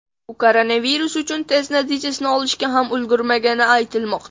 U koronavirus uchun test natijasini olishga ham ulgurmagani aytilmoqda.